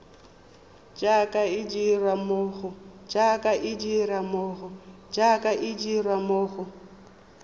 jaaka e dirwa mo go